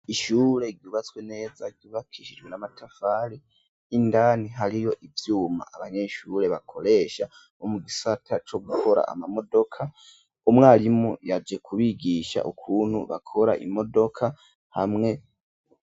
Ishyure ryubatswe neza ryubakishijwe n'amatafari indani hariyo ivyuma abanyeshure bakoresha bo mu gisata co gukora amamodoka umwarimu yaje kubigisha ukuntu bakora imodoka hamwe.